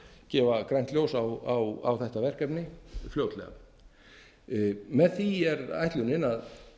gefa grænt ljós á þetta verkefni fljótlega með því er ætlunin að